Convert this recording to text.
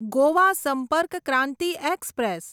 Goa Sampark Kranti express